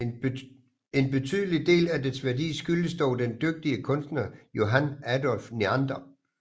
En betydelig del af dets værdi skyldes dog den dygtige kunstner Johann Adolph Neander